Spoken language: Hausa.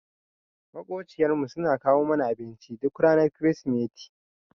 Maƙociyar mu suna kawo mana abinci duk ranar krismeti.